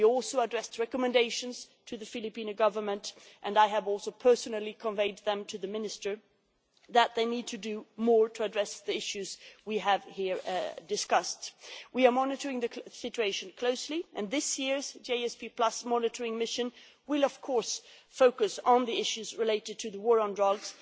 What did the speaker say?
We also addressed recommendations to the Philippine Government and I have also personally conveyed them to the minister that they need to do more to address the issues we have discussed here. We are monitoring the situation closely, and this year's GSP monitoring mission will focus on the issues related to the war on drugs.